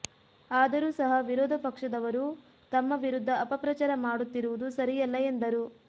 ಆದರೂ ಸಹ ವಿರೋಧ ಪಕ್ಷದವರು ತಮ್ಮ ವಿರುದ್ಧ ಅಪಪ್ರಚಾರ ಮಾಡುತ್ತಿರುವುದು ಸರಿಯಲ್ಲ ಎಂದರು